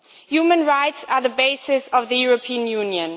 Human rights are the basis of the European Union.